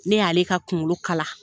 Ne y'ale ka kunkolo kala.